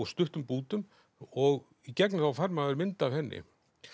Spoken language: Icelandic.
stuttum bútum og í gegnum þá fær maður mynd af henni